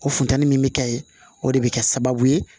O funtɛni min bɛ kɛ ye o de bɛ kɛ sababu ye